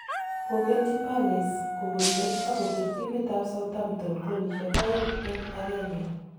Kokelchi palace kopun let ako pir timitap Southampton golishek aeng' eng' agenge